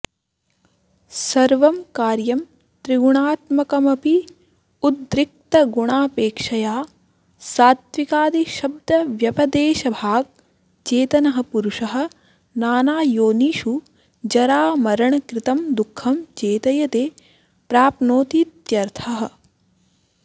सर्वं कार्यं त्रिगुणात्मकमपि उद्रिक्तगुणापेक्षया सात्त्विकादिशब्दव्यपदेशभाक् चेतनः पुरुषः नानायोनिषु जरामरणकृतं दुःखं चेतयते प्राप्नोतीत्यर्थः